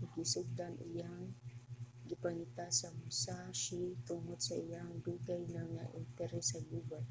ug gisugdan ang iyang pagpangita sa musashi tungod sa iyahang dugay na nga interes sa gubat